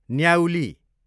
न्याउली